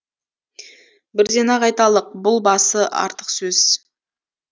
бірден ақ айталық бұл басы артық сөз